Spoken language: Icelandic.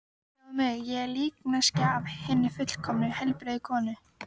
Sjáðu mig, ég er líkneskja af hinni fullkomnu, heilbrigðu konu.